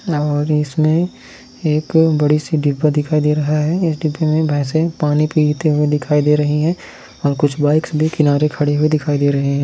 और इसमें एक बड़ी सी डिब्बा दिखाई दे रहा है इस डिब्बे में भैंसे पानी पीते हुए दिखाई दे रही है और कुछ बाइक्स भी किनारे खड़ी हुई दिखाई दे रही है।